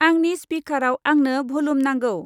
आंनि स्पिकाराव आंनो भलुम नांगौ।